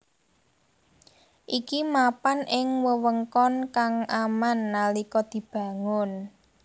Iki mapan ing wewengkon kang aman nalika dibangun